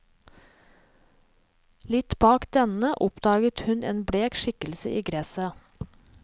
Litt bak denne oppdaget han en blek skikkelse i gresset.